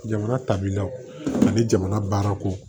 Jamana tabilaw ani jamana baarako